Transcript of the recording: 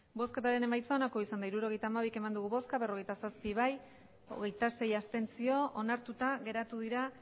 hirurogeita hamabi eman dugu bozka berrogeita zazpi bai hogeita sei abstentzio onartuta geratu dira